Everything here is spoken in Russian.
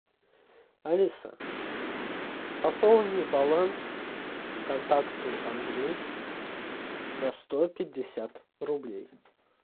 алиса пополни баланс контакту андрей на сто пятьдесят рублей